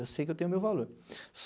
Eu sei que eu tenho meu valor.